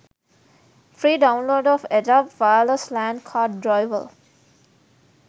free download of edup wireless lan card driver